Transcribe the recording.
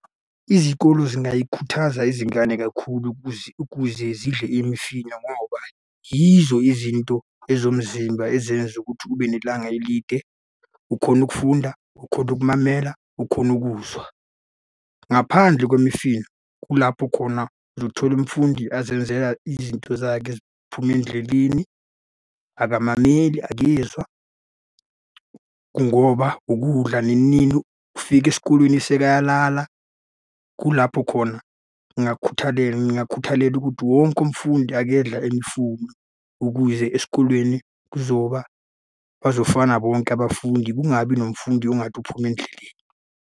Izikolo zingayikhuthaza izingane kakhulu ukuze zidle imifino ngoba yizo izinto ezomzimba ezenza ukuthi ube nelanga elide, ukhone ukufunda, ukhone ukumamela, ukhone ukuzwa. Ngaphandle kwemifino, kulapho khona uzothola umfundi azenzela izinto zakhe eziphume endleleni. Akamameli, akezwa, ngoba ukudla nini nini ufika esikolweni sekayalala. Kulapho khona ngingakukhuthalela ukuthi wonke umfundi akedla imfunu ukuze esikolweni kuzoba, bazofana bonke abafundi, kungabi nomfundi ongathi uphuma endleleni.